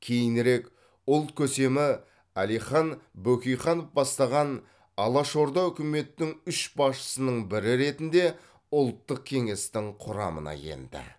кейінірек ұлт көсемі әлихан бөкейханов бастаған алашорда үкіметінің үш басшысының бірі ретінде ұлттық кеңестің құрамына енді